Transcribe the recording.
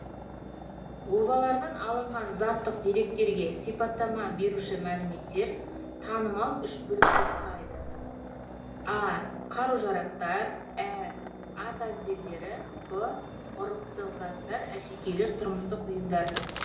обалардан алынған заттық деректерге сипаттама беруші мәліметтер танымал үш бөлікті құрайды а қару жарақтар ә ат әбзелдері б ғұрыптық заттар әшекейлер тұрмыстық бұйымдар